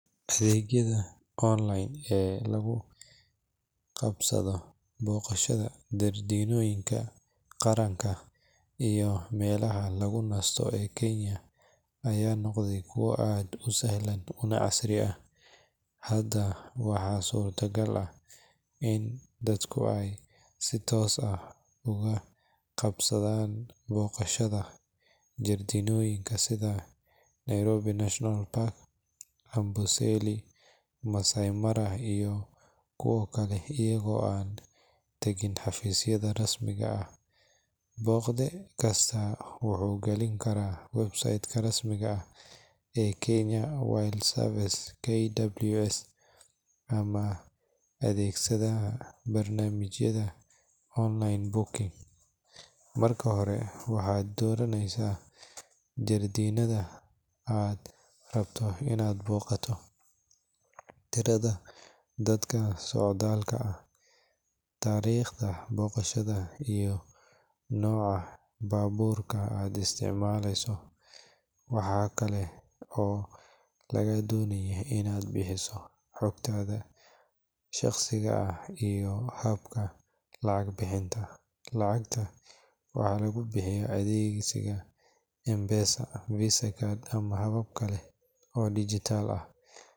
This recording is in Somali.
Adeegyada online ee lugu qabsado, boqashada jardiinoyinka qaranka iyo melaha lugu nasto ee kenya aya noqdee kuwo aad u sahlan kuna casri ah, hada waxa surta gal ah in dadku ay si toos oga qabsadan boqoshada jardinoyinka sida Nairobi national Park, amboseli, Maasai mara iyo kuwo kale iyago an tegin xafisyada rasmiga ah, boqde kista wuxuu gelin karaa websaitka rasmiga ah ee Kenya wildlife service KWS ama ,adeegsadaha barnamijka online booking marka hore waxad doraneysa jardiinada ad rabto inad boqato, tirada dadka socdal ah, tariqda boqashada iyo noca baburka ad isticmaaleyso, waxakale oo lagaa donaya inad bixiso xugtada shaqsiga ah iyo habka lacag bixinta, lacagta waxaa lugu bixiya adeegsiga [cs[mpesa, visa card ama habab kale oo dijital ah,